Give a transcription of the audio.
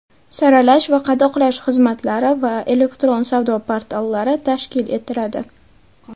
saralash va qadoqlash xizmatlari va elektron savdo portallari tashkil etiladi;.